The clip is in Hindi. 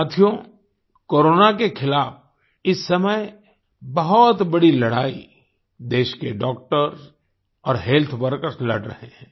साथियो कोरोना के खिलाफ इस समय बहुत बड़ी लड़ाई देश के डॉक्टर और हेल्थ वर्कर्स लड़ रहे हैं